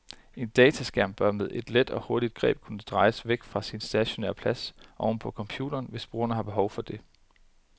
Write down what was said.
En dataskærm bør med et let og hurtigt greb kunne drejes væk fra sin stationære plads oven på computeren, hvis brugeren har behov for det.